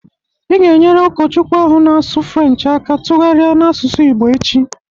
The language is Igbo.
Ị ga e nyere Ụkọchukwu ahụ na-asụ French aka tụgharia n' asụsụ Igbo echi